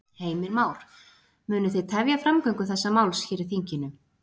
Heimir Már: Munu þið tefja framgöngu þessa máls hér í þinginu?